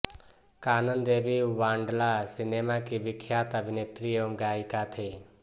कानन Devi Bangla cinema की विख्यात अभिनेत्री एवं गायिका थीं